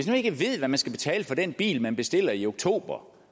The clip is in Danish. nu ikke ved hvad man skal betale for den bil man bestiller i oktober